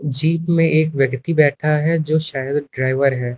Jeep में एक व्यक्ति बैठा है जो शायद ड्राइवर है।